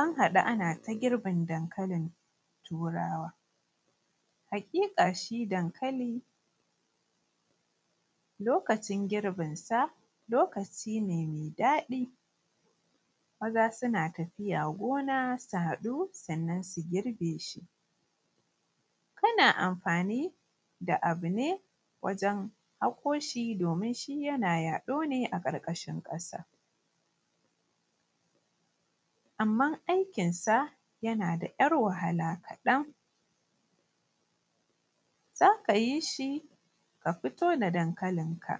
An haɗu ana ta girbin dankalin turawa, haƙiƙa shi dankali lokacin girbin sa, lokaci ne mai daɗi. Maza suna tafiya gona su haɗu sannan su girbe shi. Kana amfani da abu ne wajen haƙo shi domin shi yana yaɗo ne a ƙarƙashin ƙasa. Amman aikin sa yana da ‘yar wahala kaɗan, za ka yi shi ka fito da dankalin ka,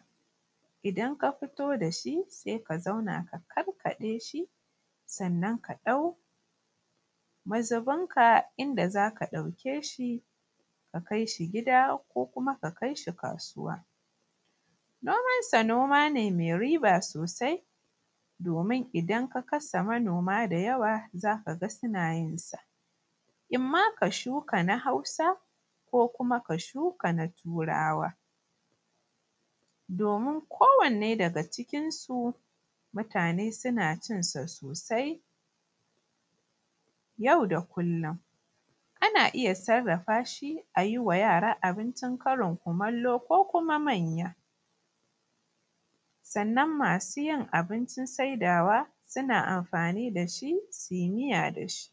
idan ka fito da shi sai ka zauna ka karkaɗe shi sannan ka ɗau mazubin ka inda za ka ɗauke shi ka kai shi gida ko kuma ka kai shi kasuwa. Noman sa noma ne mai riba sosai domin idan ka kasa manoma da yawa za ka ga suna yin sa, imma ka shuka na hausa ko kuma ka shuka na turawa domin kowanne daga cikin su mutane suna cin sa sosai yau da kullum. Ana iya sarrafa shi a yi wa yara abincin karin kumallo ko kuma manya, sannan masu yin abincin saidawa suna amfani da shi su yi miya da shi.